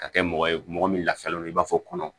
Ka kɛ mɔgɔ ye mɔgɔ min lafiyalen don i b'a fɔ kɔnɔ